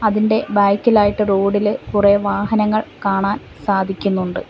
അതിൻ്റെ ബാക്കിലായിട്ട് റോഡില് കുറെ വാഹനങ്ങൾ കാണാൻ സാധിക്കുന്നുണ്ട്.